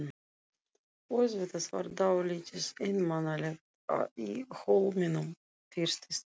Auðvitað var dálítið einmanalegt í Hólminum fyrst í stað.